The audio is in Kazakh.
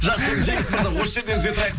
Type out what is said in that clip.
жақсы жеңіс мырза осы жерден үзе тұрайық